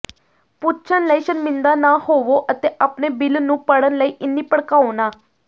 ਪੁੱਛਣ ਲਈ ਸ਼ਰਮਿੰਦਾ ਨਾ ਹੋਵੋ ਅਤੇ ਆਪਣੇ ਬਿੱਲ ਨੂੰ ਪੜ੍ਹਨ ਲਈ ਇੰਨੀ ਭੜਕਾਓ ਨਾ